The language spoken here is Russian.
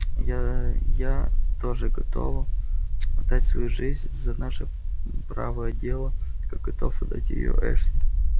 я я тоже готова отдать свою жизнь за наше правое дело как готов отдать её эшли